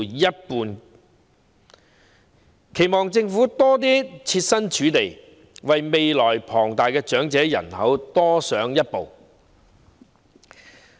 我們期望政府能設身處地，為未來龐大的長者人口多加設想。